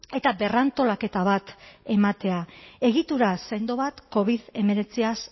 eta berrantolaketa bat ematea egitura sendo bat covid hemeretziaz